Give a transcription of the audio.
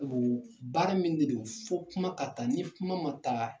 Baara min de don fo kuma ka taa ni kuma ma taa